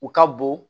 U ka bon